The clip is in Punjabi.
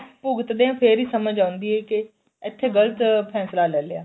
ਭੁਗਤਦੇ ਆ ਫੇਰ ਈ ਸਮਝ ਆਉਂਦੀ ਏ ਕੇ ਇੱਥੇ ਗਲਤ ਫੈਂਸਲਾ ਲੈ ਲਿਆ